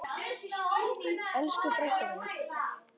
Elsku frænka mín.